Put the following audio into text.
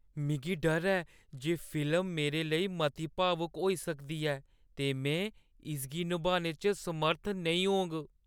मिगी डर ऐ जे फिल्म मेरे लेई मती भावुक होई सकदी ऐ ते में इसगी नभाने च समर्थ नेईं होङ।